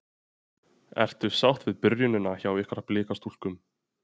Ertu sátt við byrjunina hjá ykkur Blikastúlkum?